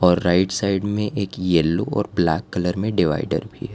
Right side में एक yellow और ब्लैक कलर में डिवाइडर भी है।